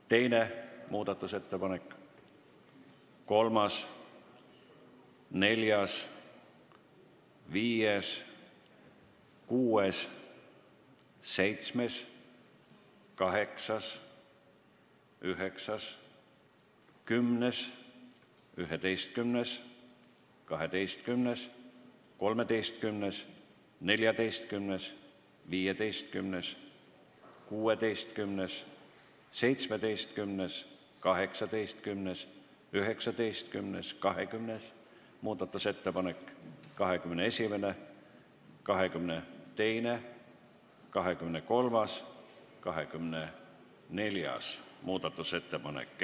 Teine muudatusettepanek, kolmas, neljas, viies, kuues, seitsmes, kaheksas, üheksas, kümnes, 11., 12., 13., 14., 15., 16., 17., 18., 19., 20. muudatusettepanek; 21., 22., 23., 24. muudatusettepanek.